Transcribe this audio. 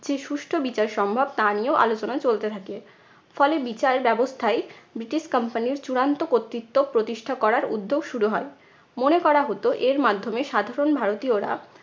যে সুষ্ঠ বিচার সম্ভব তা নিয়েও আলোচনা চলতে থাকে। ফলে বিচার ব্যবস্থায় ব্রিটিশ company র চূড়ান্ত কর্তৃত্ব প্রতিষ্ঠা করার উদ্যোগ শুরু হয়। মনে করা হত এর মার্ধ্যমে সাধারণ ভারতীয়রা